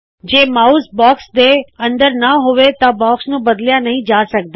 ਜੇ mouse box ਦੇ ਅੰਦਰ ਨਾ ਹੋਵੇ ਤਾ ਬਾਕਸ ਨੂੰ ਬਦਲਿਆ ਨਹੀ ਜਾ ਸਕਦਾ